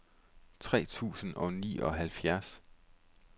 tres tusind og nioghalvfjerds